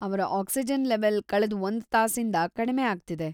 ಅವ್ರ oxygen level ಕಳೆದ್ ಒಂದ್ ತಾಸಿಂದ ಕಡ್ಮೆ ಆಗ್ತಿದೆ.